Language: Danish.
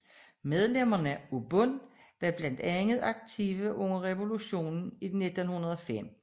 Medlemmer af Bund var blandt andet aktive under revolutionen 1905